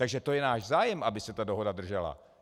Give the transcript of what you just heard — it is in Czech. Takže to je náš zájem, aby se ta dohoda držela.